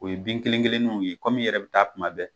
O ye bin kelen kelenninw ye kom'i yɛrɛ bɛ taa kuma bɛɛ